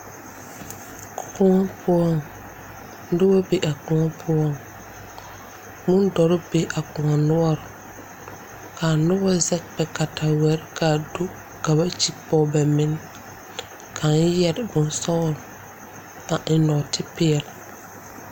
Koɔ poɔŋ noba be a koɔ poɔ bondɔre be a koɔ noɔre k,a noba zɛge ba kataweɛ ka a do ka ba kyigi pɔge ba menne kaŋ yɛre bonsɔglɔ a eŋ nɔɔtepeɛle.